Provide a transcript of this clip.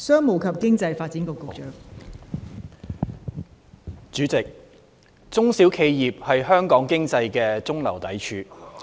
代理主席，中小企業是香港經濟的中流砥柱。